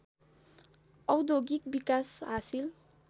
औद्योगिक विकास हासिल